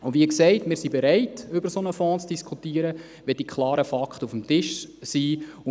Wie gesagt sind wir bereit, über einen solchen Fonds zu diskutieren, wenn die klaren Fakten auf dem Tisch liegen.